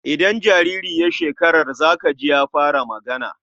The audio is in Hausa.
Idan jariri ya shekar za ka ji ya fara magana.